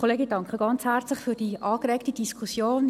Ich danke herzlich für die angeregte Diskussion.